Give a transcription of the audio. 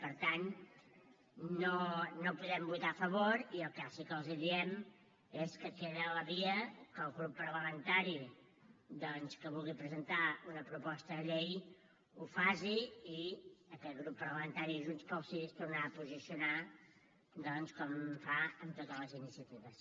per tant no podem votar a favor i el que sí que els diem és que queda la via que el grup parlamentari que vulgui presentar una proposta de llei ho faci i aquest grup parlamentari de junts pel sí es tornarà a posicionar doncs com fa amb totes les iniciatives